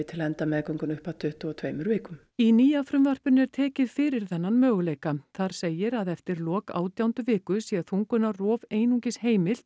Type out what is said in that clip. til að enda meðgönguna upp að tuttugu og tveimur vikum í nýja frumvarpinu er tekið fyrir þennan möguleika þar segir að eftir lok átjándu viku sé þungunarrof einungis heimilt